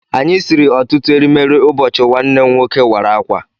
Anyị siri ọtụtụ erimeri ụbọchị nwanne m nwoke wara akwa